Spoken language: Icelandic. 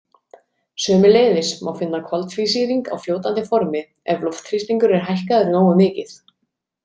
Sömuleiðis má finna koltvísýring á fljótandi formi ef loftþrýstingur er hækkaður nógu mikið.